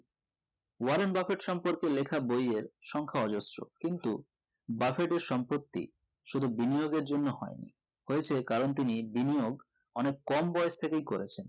Warren Buffett সম্পর্কে লেখা বই এর সংখ্যা অজোরসো কিন্তু বাফেট এর সম্পত্তি শুধু বিনিয়োগ এর জন্য হয় না হয়েছে কারণ তিনি বিনিয়োগ অনেক কম বয়েস থেকেই করেছেন